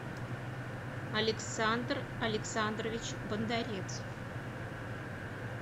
александр александрович бондарец